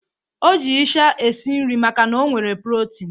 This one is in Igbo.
O ji ịsha esi nri makana ọ nwere protini.